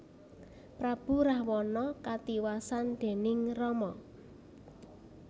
Prabu Rahwana katiwasan déning Rama